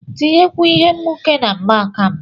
tinyekwuo Ihe nwuke na mgbaaka m